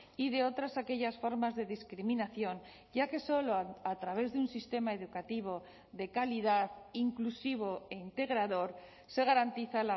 y de otras aquellas formas de discriminación ya que solo a través de un sistema educativo de calidad inclusivo e integrador se garantiza